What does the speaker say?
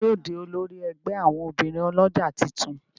Ta ní yóò dì olórí ègbé àwọn obìrin olójà títún?